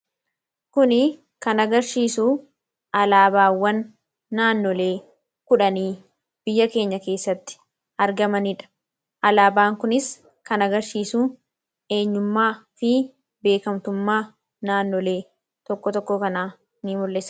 Kun kan agarsiisu alaabaawwan naannolee kudhanii biyya keenya keessatti argamanidha . Alaabaan kunis kan agarsiisu eenyummaa fi beekamtummaa naannolee tokko tokkoo kanaa ni mul'isa.